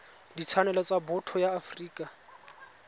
ditshwanelo tsa botho ya afrika